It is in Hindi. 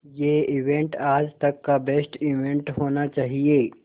ये इवेंट आज तक का बेस्ट इवेंट होना चाहिए